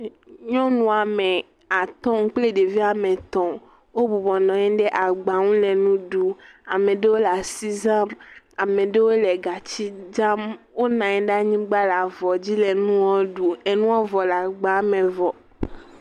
Nyɔnu ame atɔ̃ kpli ɖevi ame etɔ̃, obubɔ nanyi ɖe agba ŋu le nu ɖu, ameɖowo le asi zam, ameɖowo le gatsi zam, onanyi ɖe anyigba le avɔ dzi le nuɔ ɖu, enuɔ vɔ le agba me vɔ.